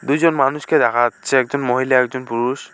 দুজন মানুষকে দেখা যাচ্ছে একজন মহিলা একজন পুরুষ